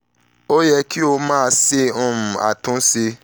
o yẹ ki o yẹ ki o ma um ṣe atunṣe